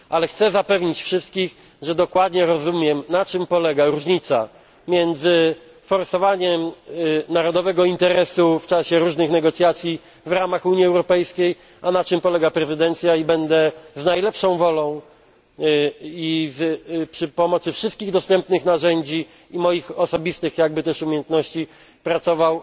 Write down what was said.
Chcę wszystkich zapewnić, że dokładnie rozumiem, na czym polega różnica między forsowaniem narodowego interesu w czasie różnych negocjacji w ramach Unii Europejskiej, a na czym polega prezydencja i będę z najlepszą wolą i przy pomocy wszystkich dostępnych narzędzi i moich osobistych umiejętności